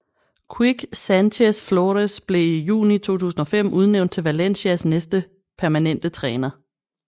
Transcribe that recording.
Quique Sánchez Flores blev i juni 2005 udnævnt til Valencias næste permanente træner